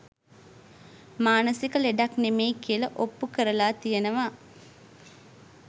මානසික ලෙඩක් නෙමෙයි කියල ඔප්පු කරලා තියෙනවා